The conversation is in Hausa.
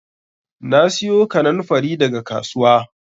Na siyo kannanfari daga kasuwa